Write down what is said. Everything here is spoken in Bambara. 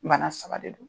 Bana saba de don